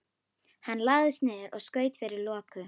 Hann lagðist niður og skaut fyrir loku.